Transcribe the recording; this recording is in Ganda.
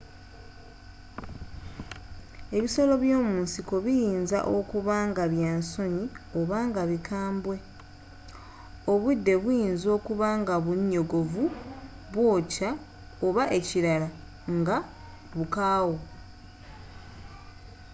ebisolo by'omunsiko biyinza okuba nga bya nsonyi oba nga bikambwe obudde buyinza okuba nga bunyogovu bwookya oba ekirala nga bukaawu